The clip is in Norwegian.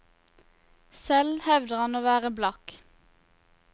Selv hevder han å være blakk.